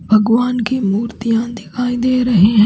भगवान की मूर्तियां दिखाई दे रही हैं।